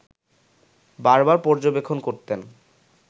বারবার পর্যবেক্ষণ করতেন